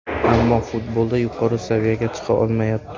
Ammo futbolda yuqori saviyaga chiqa olmayapti.